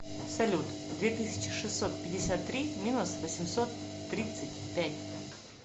салют две тысячи шестьсот пятьдесят три минус восемьсот тридцать пять